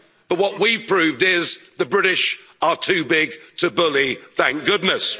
again. But what we proved is, the British are too big to bully, thank goodness.